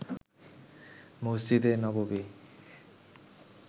মসজিদে নববী